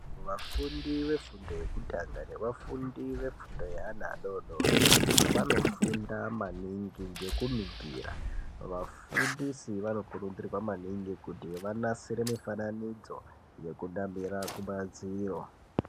Vafundi vefundo yekutanga nevafundi vefundo yeana adodori vanofunda maningi ngekuningira, vafundisi vanokurudzirwa maningi kuti vanasire mifananidzo yekunamire kumadziro.